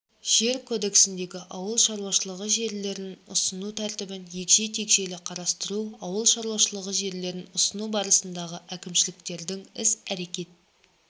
жер кодексіндегі ауыл шаруашылығы жерлерін ұсыну тәртібін егжей-тегжейлі қарастыру ауыл шаруашылығы жерлерін ұсыну барысындағы әкімшіліктердің іс-әрекет